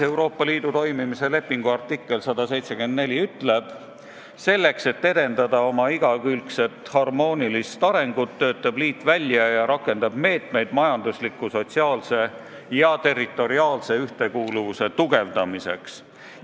Euroopa Liidu toimimise lepingu artikkel 174 ütleb: "Selleks et edendada oma igakülgset harmoonilist arengut, töötab liit välja ja rakendab meetmeid majandusliku, sotsiaalse ja territoriaalse ühtekuuluvuse tugevdamiseks.